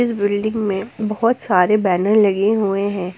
इस बिल्डिंग में बहुत सारे बैनर लगे हुए हैं।